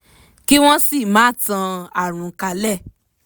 kí wọ́n sì máa tan àrùn kálẹ̀